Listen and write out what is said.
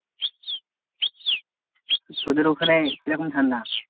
তোদের ওখানে কী রকম ঠান্ডা?